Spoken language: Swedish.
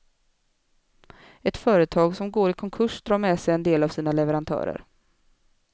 Ett företag som går i konkurs drar med sig en del av sina leverantörer.